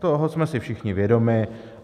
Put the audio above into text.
Toho jsme si všichni vědomi.